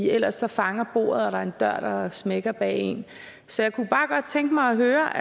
ellers fanger bordet og der er smækker bag en så jeg kunne bare godt tænke mig at høre